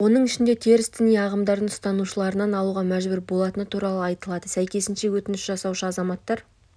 оның ішінде теріс діни ағымдардың ұстанушыларынан алуға мәжбүр болатыны туралы айтылады сәйкесінше өтініш жасаушы азаматтар